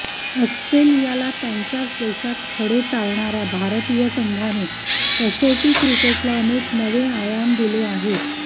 ऑस्ट्रेलियाला त्यांच्याच देशात खडे चारणाऱ्या भारतीय संघाने कसोटी क्रिकेटला अनेक नवे आयाम दिले आहेत